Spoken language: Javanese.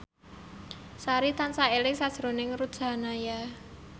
Sari tansah eling sakjroning Ruth Sahanaya